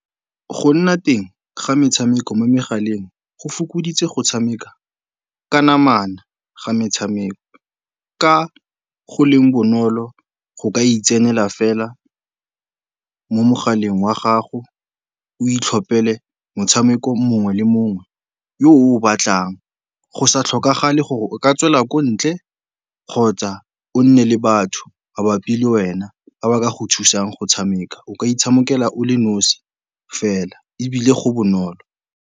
Go nna teng ga metshameko mo megaleng go fokoditse go tshameka ka namana ga metshameko, ka go leng bonolo go ka itsenela fela mo mogaleng wa gago o itlhophele motshameko mongwe le mongwe yo o o batlang. Go sa tlhokagale gore o ka tswela ko ntle kgotsa o nne le batho mabapi le wena, ba ba ka go thusang go tshameka. O ka itshamekela o le nosi fela ebile go bonolo.